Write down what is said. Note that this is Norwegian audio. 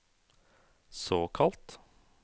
såkalt